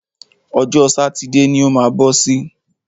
Ọjọ́ sátidé ni o má bọ́ sí.